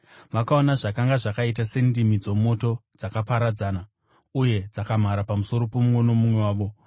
Vakaona zvakanga zvakaita sendimi dzomoto dzakaparadzana uye dzakamhara pamusoro pomumwe nomumwe wavo.